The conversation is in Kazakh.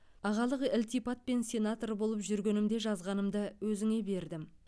ағалық ілтипатпен сенатор болып жүргенімде жазғанымды өзіңе бердім